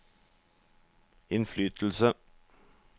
innflytelse